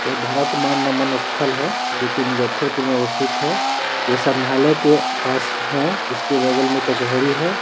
यह भारत मान नमन स्थल है जो की मुज्जफरपुर में अवस्थित है। यह समरहालाय के पास है। इसके बगल में कचहरी है।